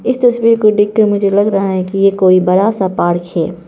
इस तस्वीर को देखकर मुझे लगा रहा है कि ये कोई बड़ा सा पार्क है।